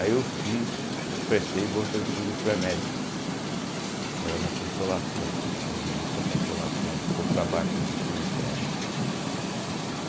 Aí eu fiz, prestei bolsa de estudo pré-médico, que era na Consolação, lá no início da Consolação, um pouco para baixo do cemitério.